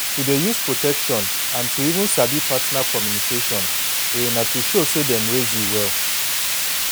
to dey use protection and to even sabi partner communication a to show say dem raise you well